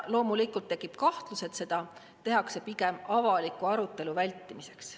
Loomulikult tekib kahtlus, et seda tehakse pigem avaliku arutelu vältimiseks.